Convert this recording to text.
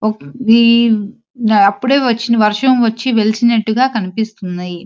ఒక్-వి-అప్పుడే వచ్చిన వర్షం వచ్చి వెలిసినట్టుగా కనిపిస్తున్నాయి.